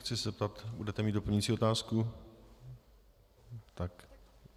Chci se zeptat: Budete mít doplňující otázku?